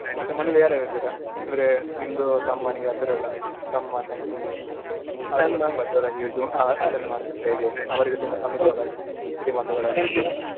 ಮತ್ತೆ ಮನೇಲಿ ಯಾರ್ಯಾರು ಇದ್ದೀರಾ ಅಂದ್ರೆ ನಿಮ್ದು ತಮ್ಮನಿಗೆ ಆ ತರಾ ಎಲ್ಲಾ ತಮ್ಮಾ ತಂಗಿ ಆ ಆತರ ಮಾಡದತೀರ ಹೇಗೆ ಅವ್ರಿಗೆ ತುಂಬಾ ತೊಂದರೆ ಅದು ಆದ್ರೆ ಸಿಡಿಮದ್ದುಗಳನ್ನ .